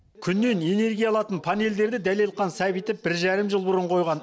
күннен энергия алатын панельдерді дәлелхан сәбитов бір жарым жыл бұрын қойған